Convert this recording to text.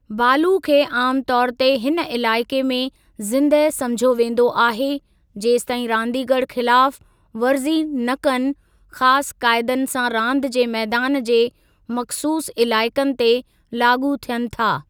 बालु खे आमु तौर ते हिन इलाइक़े में जिंदह समुझियो वेंदो आहे जेसताईं रांदीगरु ख़िलाफ़ु वरज़ी न कनि ख़ासि काइदनि सां रांदि जे मैदान जे मख़सूसु इलाइक़नि ते लाॻू थियनि था।